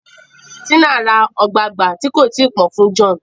Tina rá ogbagba tí kò tíì pọn fún John